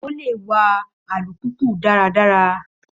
Ó lè wa alùpùpù dáradára.